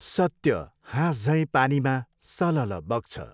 सत्य हाँसझैँ पानीमा सलल्ल बग्छ।